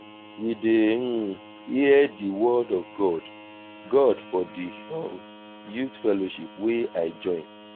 we dey hear di word of god god for di um youth fellowship wey i join.